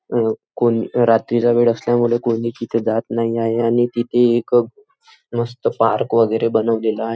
अ कोण रात्रीचा वेळ असल्यामुळे कोणी तिथे जात नाही आहे आणि तिथे एक अ मस्त पार्क वैगेरे बनवलेला आ --